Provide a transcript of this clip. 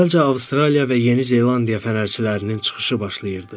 Əvvəlcə Avstraliya və Yeni Zelandiya fənərçilərinin çıxışı başladı.